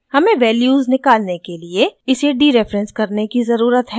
हमें वैल्यूज़ निकलने के लिए इसे डीरेफरेंस करने की ज़रुरत है